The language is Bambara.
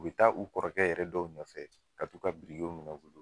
U be taa u kɔrɔkɛ yɛrɛ dɔw nɔfɛ ka t'u ka birikew minɛ u bolo